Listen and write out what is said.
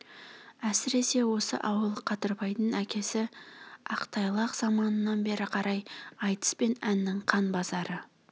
әсіресе осы ауыл қадырбайдың әкесі ақтайлақ заманынан бері қарай айтыс пен әннің қан базары